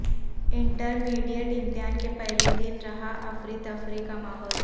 inter mediate امتحان کے پہلے دن رہا افرتفری کا ماحول